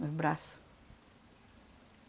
Nos braço.